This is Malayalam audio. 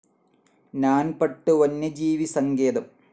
നാൻ പട്ട് വന്യജീവി സങ്കേതം